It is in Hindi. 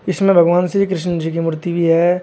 इसमें भगवान श्री कृष्ण जी की मूर्ति भी है।